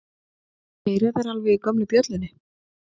Heyra þeir alveg í gömlu bjöllunni?